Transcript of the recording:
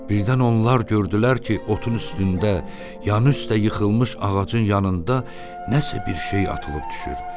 Birdən onlar gördülər ki, otun üstündə, yan üstdə yıxılmış ağacın yanında nəsə bir şey atılıb düşür.